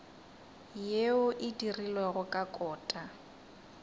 yeo e dirilwego ka kota